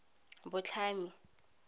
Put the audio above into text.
botlhami